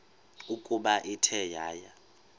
ukuba ithe yaya